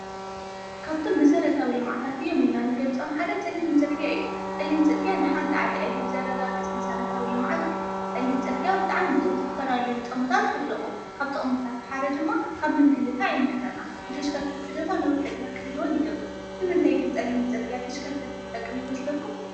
ካብቶም መሰረታዊ ልምዓታት እዮም ኢልና ንገልፆም ሓደ ፅሊም ፅርግያ እዩ። ፅሊም ፅርግያ ንሓንቲ ዓዲ ዕብየት ዘረጋግፅ መሰረታዊ ልምዓት እዩ። ፀሊም ፅርግያ ዝተፈላለዩ ጥቅምታት ኣለዉዎ። ካብ ጥቕምታቱ ሓደ ድማ ካብ ምንግልታዕ ይምሕረና። ንተሽከርከቲ ድማ ነዊ ዕድመ ክህልውን ይገብር። ንምንታይ ግን ፀሊም ፅርግያ ንተሽከርከቲ ይጠቅም ይመስለኩም?